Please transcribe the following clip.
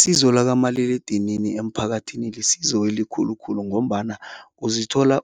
Isizo lakamaliledinini emphakathini lisizo elikhulu khulu ngombana uzithola